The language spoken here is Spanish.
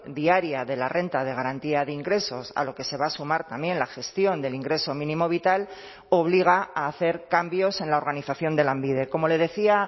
diaria de la renta de garantía de ingresos a lo que se va a sumar también la gestión del ingreso mínimo vital obliga a hacer cambios en la organización de lanbide como le decía